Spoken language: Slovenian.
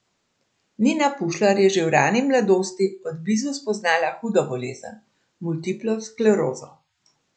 Nina Pušlar je že v rani mladost od blizu spoznala hudo bolezen, multiplo sklerozo.